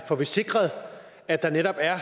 får vi sikret at der netop er